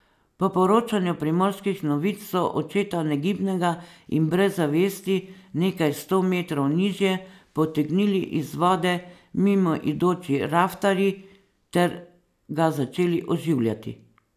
Po poročanju Primorskih novic so očeta negibnega in brez zavesti nekaj sto metrov nižje potegnili iz vode mimoidoči raftarji ter ga začeli oživljati.